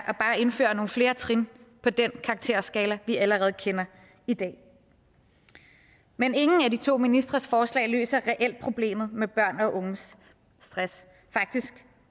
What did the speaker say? at indføre nogle flere trin på den karakterskala vi allerede kender i dag men ingen af de to ministres forslag løser reelt problemet med børn og unges stress faktisk